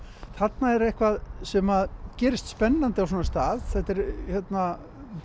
þarna er eitthvað sem gerist spennandi á svona stað þetta